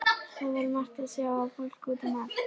Það var margt að sjá og fólk út um allt.